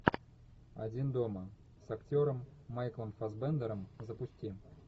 один дома с актером майклом фассбендером запусти